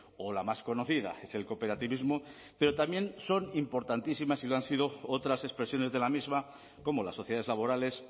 o la más conocida es el cooperativismo pero también son importantísimas y lo han sido otras expresiones de la misma como las sociedades laborales